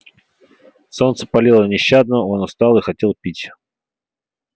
солнце палило нещадно он устал и хотел пить